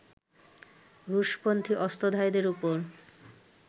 রুশপন্থি অস্ত্রধারীদের ওপর